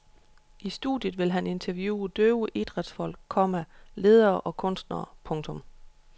I studiet vil han interviewe døve idrætsfolk, komma ledere og kunstnere. punktum